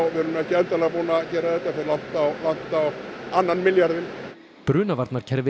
ekki endanlega búnir að gera þetta fer langt á á annan milljarðinn